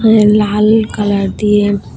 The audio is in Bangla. লাল কালার দিয়ে--